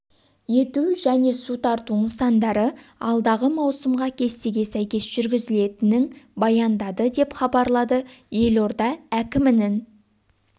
ету және су тарту нысандары алдағы маусымға кестеге сәйкес жүргізілетінін баяндады деп хабарлады елорда әкімінің